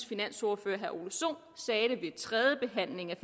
finansordfører herre ole sohn sagde det ved tredjebehandlingen af